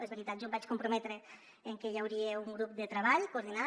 és veritat jo em vaig comprometre que hi hauria un grup de treball coordinat